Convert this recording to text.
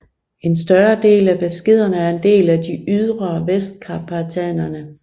En større del af Beskiderne er en del af de ydre Vestkarpaterne